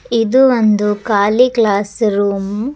ಇದು ಒಂದು ಖಾಲಿ ಕ್ಲಾಸ್ ರೂಮ್ .